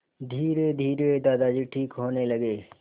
धीरेधीरे दादाजी ठीक होने लगे